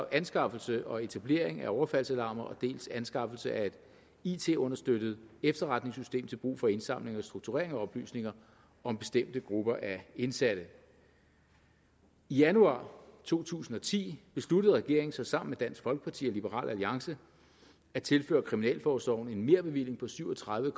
anskaffelse og etablering af overfaldsalarmer dels til anskaffelse af et it understøttet efterretningssystem til brug for indsamling og strukturering af oplysninger om bestemte grupper af indsatte i januar to tusind og ti besluttede regeringen så sammen dansk folkeparti og liberal alliance at tilføre kriminalforsorgen en merbevilling på syv og tredive